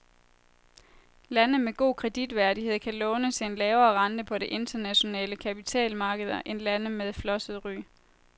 Lande med god kreditværdighed kan låne til en lavere rente på de internationale kapitalmarkeder end lande med flosset ry.